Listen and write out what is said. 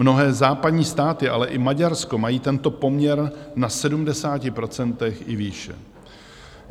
Mnohé západní státy, ale i Maďarsko, mají tento poměr na 70 % i výše.